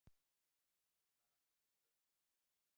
Denni, hvaða vikudagur er í dag?